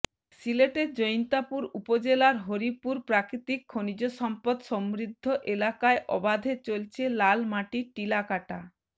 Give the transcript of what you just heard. সিলেটের জৈন্তাপুর উপজেলার হরিপুর প্রাকৃতিক খনিজ সম্পদ সমৃদ্ধ এলাকায় অবাধে চলছে লাল মাটির টিলা কাট